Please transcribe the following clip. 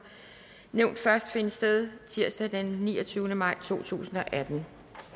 nævnt først finde sted tirsdag den niogtyvende maj totusinde og attende